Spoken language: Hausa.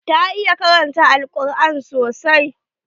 Ta iya karanta al-quran sosai.